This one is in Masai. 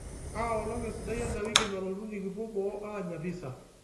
kaa olong esidai endawiki nalotu nikipuo boo aanya pisa